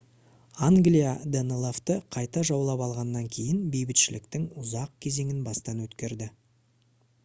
англия данелавты қайта жаулап алғаннан кейін бейбітшіліктің ұзақ кезеңін бастан өткерді